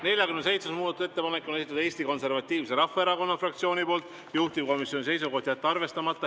47. muudatusettepaneku on esitanud Eesti Konservatiivse Rahvaerakonna fraktsioon, juhtivkomisjoni seisukoht on jätta see arvestamata.